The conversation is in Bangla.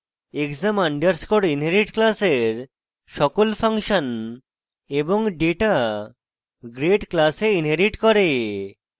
exam আন্ডারস্কোর inherit class সকল ফাংশন এবং ডেটা grade class inherit করে